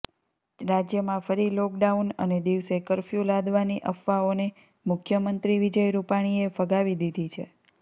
રાજ્યમાં ફરી લોકડાઉન અને દિવસે કર્ફ્યૂ લાદવાની અફવાઓને મુખ્યમંત્રી વિજય રુપાણીએ ફગાવી દીધી છે